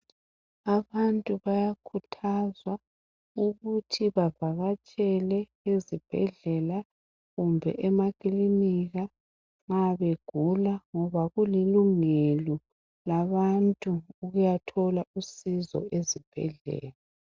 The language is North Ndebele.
Abantu bayakhuthazwa ukuthi bavakatshele ezibhedlela kumbe emakilinika nxa begula ngoba kulilungelo labantu ukuyathola usizo ezibhedlela.